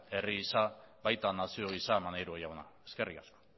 herri gisa eta baita nazio gisa ere maneiro jauna eskerrik asko